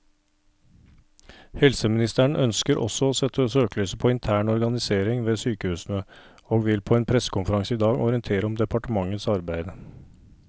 Helseministeren ønsker også å sette søkelyset på intern organisering ved sykehusene, og vil på en pressekonferanse i dag orientere om departementets arbeid.